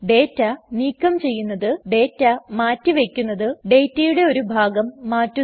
data നീക്കം ചെയ്യുന്നത് ഡേറ്റമാറ്റി വയ്ക്കുന്നത് ഡേറ്റയുടെ ഒരു ഭാഗം മാറ്റുന്നത്